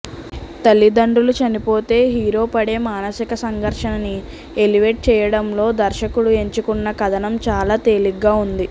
తల్లిదండ్రులు చనిపోతే హీరో పడే మానసిక సంఘర్షణని ఎలివేట్ చేయడంలో దర్శకుడు ఎంచుకున్న కథనం చాలా తేలిగ్గా ఉంది